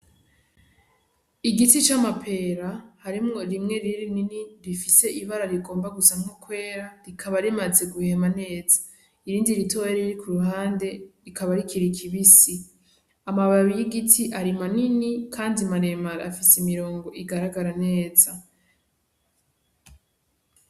Igiti c'amapera harimwo rimwe rinini rifise ibara rigomba gusa nko kwera rikaba rimaze guhema neza irindi ritoya riri kuruhande rikaba rikiri ribisi amababi y'ibiti ari manini kandi maremare afise imirongo igaragara neza.